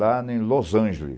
Lá em Los